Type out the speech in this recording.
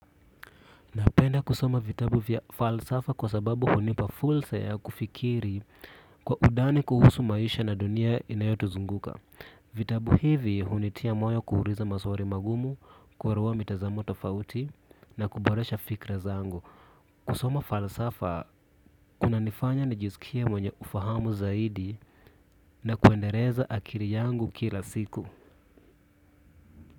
Napenda kusoma vitabu vya falsafa kwa sababu hunipa fursa ya kufikiri kwa undani kuhusu maisha na dunia inayotuzunguka. Vitabu hivi hunitia moyo kuuliza maswali magumu, kuelewa mitazamo tofauti na kuboresha fikra zangu. Kusoma falsafa, kunanifanya nijisikie mwenye ufahamu zaidi na kuendeleza akili yangu kila siku.